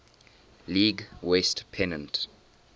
league west pennant